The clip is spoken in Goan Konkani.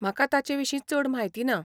म्हाका ताचेविशीं चड म्हायती ना.